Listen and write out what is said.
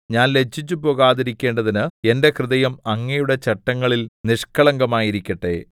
ഞാൻ ലജ്ജിച്ചു പോകാതിരിക്കേണ്ടതിന് എന്റെ ഹൃദയം അങ്ങയുടെ ചട്ടങ്ങളിൽ നിഷ്കളങ്കമായിരിക്കട്ടെ കഫ്